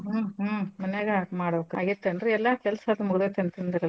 ಹ್ಮ್ ಹ್ಮ್ ಮನ್ಯಾಗ ಮಾಡ್ಬಕ್ ಆಗೇತೇನ್ರೀ ಎಲ್ಲಾ ಕೆಲ್ಸದು ಮುಗ್ದತಿ ಅಂತಂದ್ರಲ್ಲ.